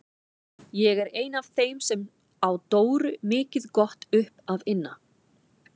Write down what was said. Ég er ein af þeim sem á Dóru mikið gott upp að inna.